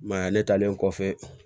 I m'a ye ne talen kɔfɛ